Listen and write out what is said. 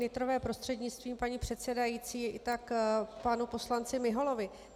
Nytrové prostřednictvím paní předsedající, tak panu poslanci Miholovi.